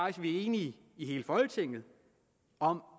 at vi enige i hele folketinget om